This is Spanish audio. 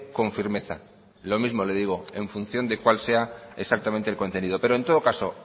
con firmeza lo mismo le digo en función de cuál sea exactamente el contenido pero en todo caso